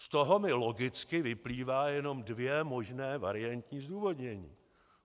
Z toho mi logicky vyplývají jenom dvě možná variantní zdůvodnění.